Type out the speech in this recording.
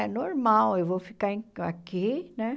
É normal, eu vou ficar em aqui, né?